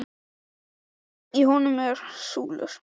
Í honum voru súlur og það var hátt til lofts.